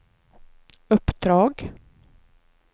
uppdrag